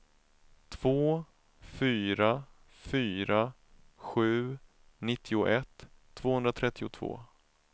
två fyra fyra sju nittioett tvåhundratrettiotvå